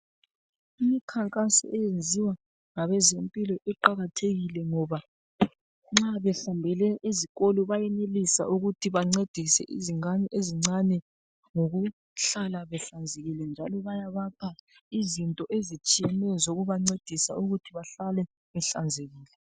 Imikhankaso eyenziwa ngabezempilo iqakathekile ngoba nxa bahambele ezikolo bayenelisa ukuthi bancedise izingane ezincane ngokuhlala behlanzekile njalo bayabapha izinto ezitshiyeneyo zokubancedisa ukuthi behlale bahlanzekile.